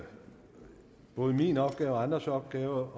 både min opgave og andres opgave